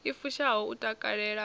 i fushaho u takalela u